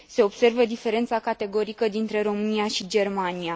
Se observă diferența categorică dintre România și Germania.